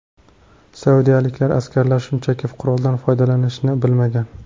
Saudiyalik askarlar shunchaki quroldan qanday foydalanishni bilmagan.